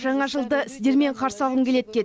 жаңа жылды сіздермен қарсы алғым келеді деді